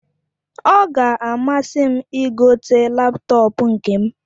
Ọ ga amasim igote laptọọpụ nkem